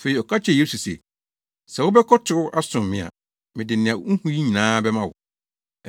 Afei ɔka kyerɛɛ Yesu se, “Sɛ wobɛkotow asom me a, mede nea wuhu yi nyinaa bɛma wo.”